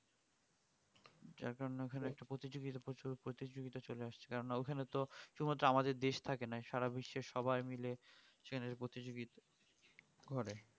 এখন ওখানে একটা প্রতিযোগিতা প্রচুর প্রতিযোগিতা চলে আসছে ওখানে তো শুধুমাত্র আমাদের দেশ থাকে না সারা বিশ্বের সবাই মাইল সেখানের প্রতিযোগিতা করে